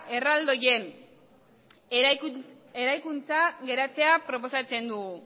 erraldoien eraikuntza geratzea proposatzen dugu